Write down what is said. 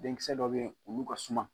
Denkisɛ dɔ bɛ yen olu ka suma.